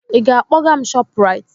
Ị ga-akpọga m ShopRite?